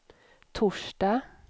torsdag